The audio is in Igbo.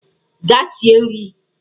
Gaa sie nri!